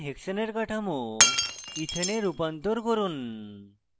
nhexane এর কাঠামো ethane এ রূপান্তর করা